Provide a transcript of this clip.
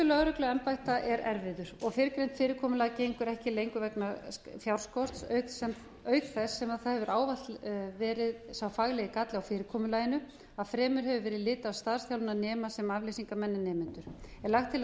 lögregluembætta er erfiður og fyrrgreint fyrirkomulag gengur ekki lengur vegna fjárskorts auk þess sem það hefur ávallt verið sá faglegi galli á fyrirkomulaginu að fremur hefur verið litið á starfsþjálfunarnema sem afleysingamenn en nemendur lagt er til að